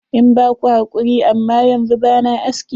Ina ba ku hakuri, amma yanzu ba na aski.